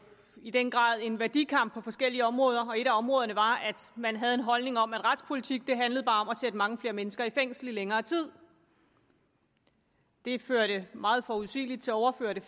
i den grad en værdikamp på forskellige områder og et af områderne var at man havde en holdning om at retspolitik bare handlede om at sætte mange flere mennesker i fængsel i længere tid det førte meget forudsigeligt til overfyldte